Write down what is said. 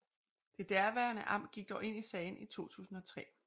Det daværende amt gik dog ind i sagen i 2003